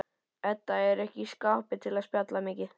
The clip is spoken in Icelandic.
Edda er ekki í skapi til að spjalla mikið.